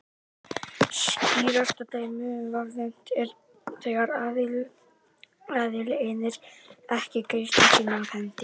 Skýrasta dæmið um vanefnd er þegar aðili innir ekki greiðslu sína af hendi.